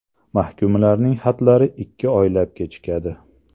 Mahkumlarning xatlari ikki oylab kechikadi .